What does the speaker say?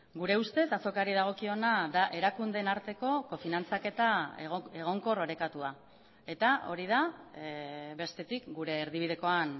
gure ustez azokari dagokiona da erakundeen arteko kofinantzaketa egonkor orekatua eta hori da bestetik gure erdibidekoan